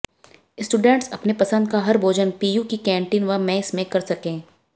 students अपने पसंद का हर भोजन पीयू की कैंटीन व मेस में कर सकें